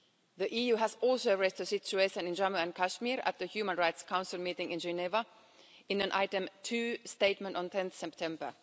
The EU has also raised the situation in Jammu and Kashmir at the Human Rights Council meeting in Geneva in an Item 2 Statement on 10 September.